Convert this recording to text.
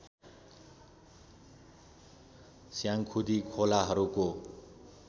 Syangkhudi खोलाहरूको